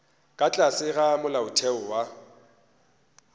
ka tlase ga molaotheo wa